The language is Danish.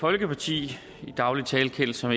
folkeparti i daglig tale kendt som